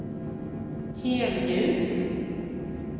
helljus